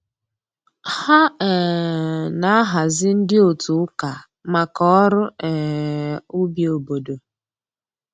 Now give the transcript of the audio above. Ha um na-ahazi ndị otu ụka maka ọrụ um ubi obodo